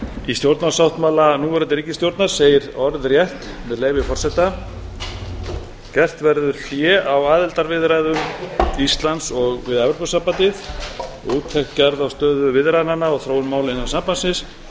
í stjórnarsáttmála núverandi ríkisstjórnar segir orðrétt með leyfi forseta gert verður hlé á aðildarviðræðum íslands við evrópusambandið og úttekt gerð á stöðu viðræðnanna og þróun mála innan sambandsins